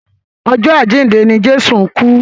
Ọjọ́ àjíǹde ni Jésù kú.